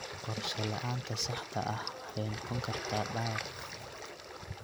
Qorshe la'aanta saxda ah waxay noqon kartaa dhaawac.